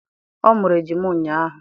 Ọ mụrụ ejima ụnyahụ